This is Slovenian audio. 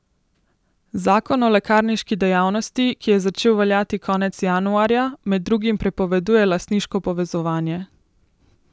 Zakon o lekarniški dejavnosti, ki je začel veljati konec januarja, med drugim prepoveduje lastniško povezovanje.